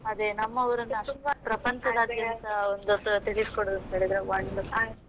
ಅದೇ ನಮ್ಮ ಊರನ್ನ ಅಷ್ಟು ಪ್ರಪಂಚದಾದ್ಯಂತ ಒಂದು ತಿಳಿಸ್ಕೊಳ್ಳೋದು ಅಂತ ಹೇಳಿದ್ರೆ wonderful .